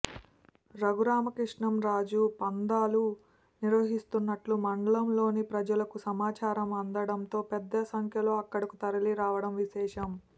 రఘురామకృష్ణంరాజు పందాలు నిర్వహిస్తున్నట్టు మండలంలోని ప్రజలకు సమాచారం అందడంతో పెద్దసంఖ్యలో అక్కడకు తరలిరావడం విశేషం